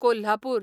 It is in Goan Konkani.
कोल्हापूर